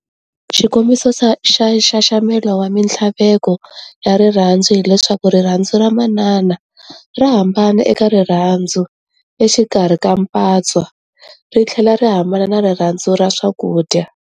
Xikombiso xa nxaxamelo wa minthlaveko ya rirhandzu hileswaku rirhandzu ra manana rahambana eka rirhandzu exikarhi ka mpatswa rithlela rihambana na rirhandzu ra swakudya.